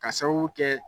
Ka sababu kɛ